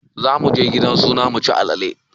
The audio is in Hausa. Zamuje gidan suna muci alale